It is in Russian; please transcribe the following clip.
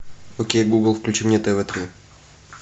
окей гугл включи мне тв три